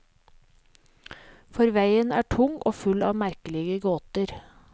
For veien er tung og full av merkelige gåter.